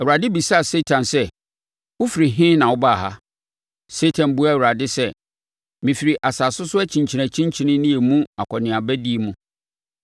Awurade bisaa Satan sɛ, “Wofiri he na wobaa ha?” Satan buaa Awurade sɛ, “Mefiri asase so akyinkyinakyinkyini ne emu akɔneabadie mu.”